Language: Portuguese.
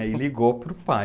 E ligou para o pai.